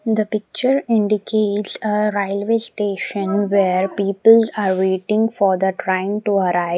The picture indicates a railway station where people are waiting for the train to arrive.